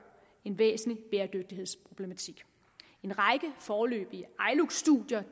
en væsentlig bæredygtighedsproblematik en række foreløbige iluc studier